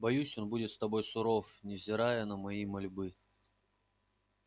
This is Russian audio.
боюсь он будет с тобой суров невзирая на мои мольбы